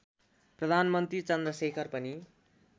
प्रधानमन्त्री चन्द्रशेखर पनि